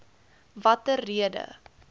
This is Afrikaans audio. watter rede